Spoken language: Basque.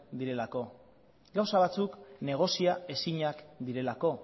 direlako gauza batzuk negozia ezinak direlako